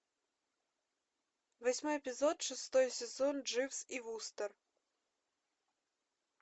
восьмой эпизод шестой сезон дживс и вустер